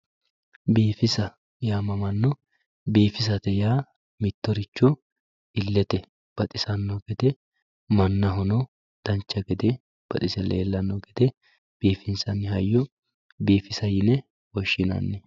biifisa yaamamano biifisate yaa mittoricho illete baxisanno gede mannahono dancha gede baxise leelanno gede biifinsanni hayyo biifisa yine woshshinanni.